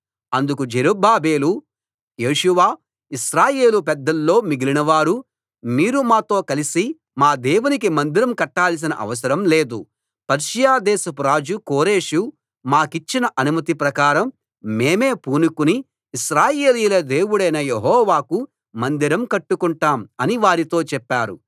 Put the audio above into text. అందుకు జెరుబ్బాబెలు యేషూవ ఇశ్రాయేలు పెద్దల్లో మిగిలినవారు మీరు మాతో కలిసి మా దేవునికి మందిరం కట్టాల్సిన అవసరం లేదు పర్షియా దేశపు రాజు కోరెషు మాకిచ్చిన అనుమతి ప్రకారం మేమే పూనుకుని ఇశ్రాయేలీయుల దేవుడైన యెహోవాకు మందిరం కట్టుకుంటాం అని వారితో చెప్పారు